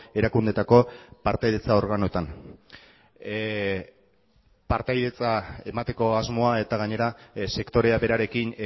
erakundeetako partaidetza organotan partaidetza emateko asmoa eta gainera sektorea berarekin